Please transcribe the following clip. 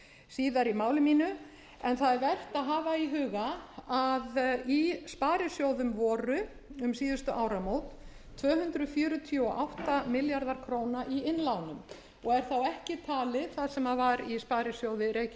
síðar í máli mínu en það er vert að hafa í huga að í sparisjóðum voru um síðustu áramót tvö hundruð fjörutíu og átta milljarðar króna í innlánum og er þá ekki talið það sem var í sparisjóði reykjavíkur